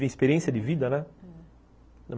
experiência de vida, né? Hum.